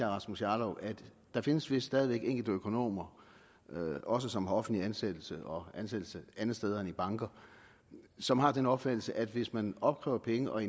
rasmus jarlov at der findes vist stadig væk enkelte økonomer også som har offentlig ansættelse og ansættelse andre steder end i banker som har den opfattelse at hvis man opkræver penge og